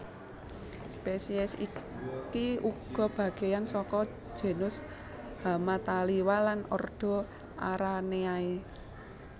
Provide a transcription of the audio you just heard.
Spesies iki uga bagéyan saka genus Hamataliwa lan ordo Araneae